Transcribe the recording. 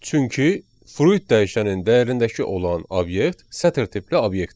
Çünki fruit dəyişənin dəyərindəki olan obyekt sətir tipli obyektdir.